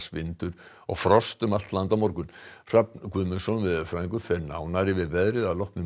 vindur og frost um allt land á morgun Hrafn Guðmundsson veðurfræðingur fer nánar yfir veðrið að loknum